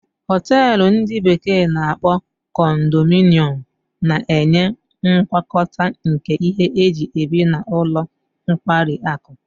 Hotelu ndi bekee na-akpo condominium na-enye ngwakọta nke ihe eji ebi na ụlọ nkwari akụ.